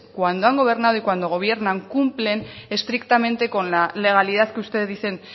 cuando han gobernado y cuando gobiernan cumplen estrictamente con la legalidad que ustedes dicen